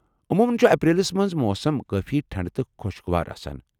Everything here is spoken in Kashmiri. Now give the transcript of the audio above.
عموٗمن چھ اپریلس منٛز موسم کٲفی ٹھنڈٕ تہٕ خۄشگوار آسان ۔